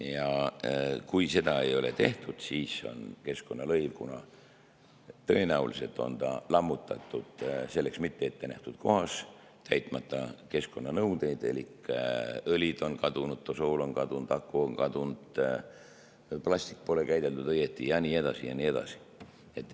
Ja kui seda ei ole tehtud, siis on keskkonnalõiv, kuna tõenäoliselt on ta lammutatud selleks mitte ettenähtud kohas, täitmata keskkonnanõudeid elik õlid on kadunud, tosool on kadunud, aku on kadunud, plasti pole käideldud õigesti ja nii edasi ja nii edasi.